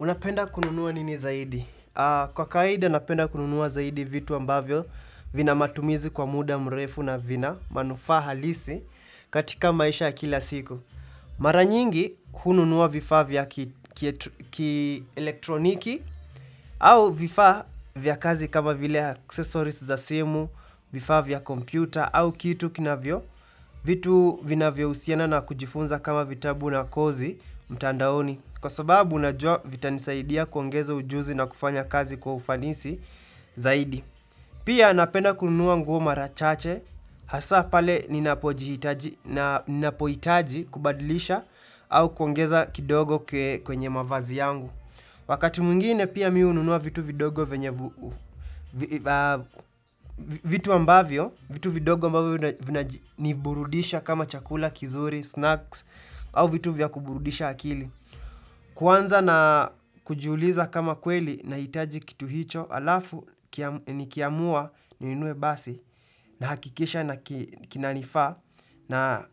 Unapenda kununua nini zaidi? Kwa kawaida napenda kununua zaidi vitu ambavyo vina matumizi kwa muda mrefu na vina manufaa halisi katika maisha ya kila siku. Mara nyingi, hununua vifaa vya ki-elektroniki au vifaa vya kazi kama vile 'accesories' za simu, vifaa vya kompyuta au kitu kinavyo, vitu vinavyo husiana na kujifunza kama vitabu na 'kozi' mtandaoni kwa sababu najua vitanisaidia kuongeza ujuzi na kufanya kazi kwa ufanisi zaidi Pia napenda kunua nguo mara chache hasa pale ninapoitaji kubadilisha au kuongeza kidogo kwenye mavazi yangu Wakati mwngine pia mimi hununua vitu vidogo venye vitu vidogo ambavyo vinaniburudisha kama chakula, kizuri, 'snacks' au vitu vya kuburudisha akili. Kuanza na kujuliza kama kweli nahitaji kitu hicho alafu nikiamua ninunue basi na hakikisha kinanifaa na